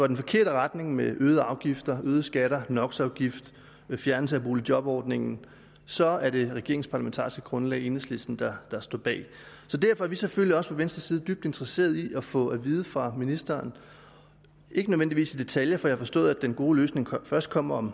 den forkerte retning med øgede afgifter øgede skatter nox afgift fjernelse af boligjobordningen så er det regeringens parlamentariske grundlag enhedslisten der der står bag derfor er vi selvfølgelig også fra venstres side dybt interesseret i at få at vide fra ministeren ikke nødvendigvis i detaljer for jeg har forstået at den gode løsning først kommer om